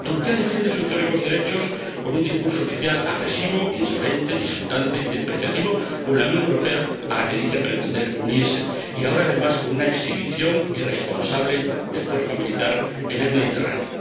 Turquía defiende sus teóricos derechos con un discurso oficial agresivo, insolente, insultante y despreciativo hacia la Unión Europea, a la que dice pretender unirse, y ahora además con una exhibición irresponsable de fuerza militar en el Mediterráneo.